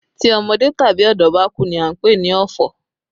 Tí ọmọdé tàbí ọ̀dọ́ bá kú ní a ń pè ní ọ̀fọ̀